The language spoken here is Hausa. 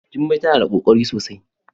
Jummai tana da kokari sosai.